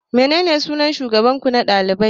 Menene sunan shugaban ku na dalibai?